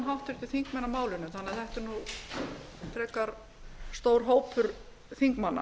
háttvirtir þingmenn á málinu þannig að þetta er nú frekar stór hópur þingmanna